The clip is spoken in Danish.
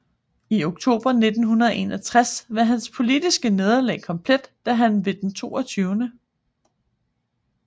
I oktober 1961 var hans politiske nederlag komplet da han ved den 22